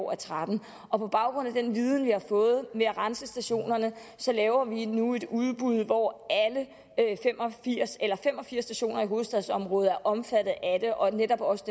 og tretten og på baggrund af den viden vi har fået med at rense stationerne laver vi nu et udbud hvor fem og firs stationer i hovedstadsområdet er omfattet og netop også